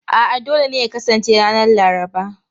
A'a, dole ne ya kasance ranar Laraba.